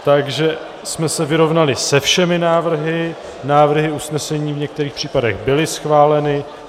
Takže jsme se vyrovnali se všemi návrhy, návrhy usnesení v některých případech byly schváleny.